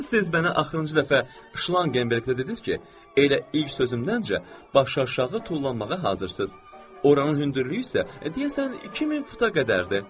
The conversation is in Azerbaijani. Siz mənə axırıncı dəfə Şlangenberqdə dediniz ki, elə ilk sözümdəncə baş aşağı tullanmağa hazırsız. Oranın hündürlüyü isə deyəsən 2000 futa qədərdir.